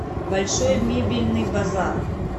большой мебельный базар